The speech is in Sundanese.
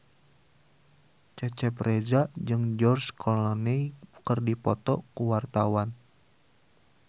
Cecep Reza jeung George Clooney keur dipoto ku wartawan